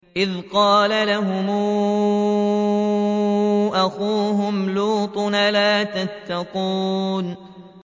إِذْ قَالَ لَهُمْ أَخُوهُمْ لُوطٌ أَلَا تَتَّقُونَ